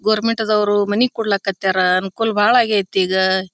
Government ದವರು money ಕೊಡ್ಲಿಕ್ಕೆ ಹತ್ಯಾರ ಅನುಕೂಲ ಬಾಳ ಆಗೈತಿ ಈಗ.